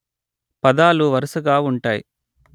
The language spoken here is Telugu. పదాలు వరుసగా ఉంటాయి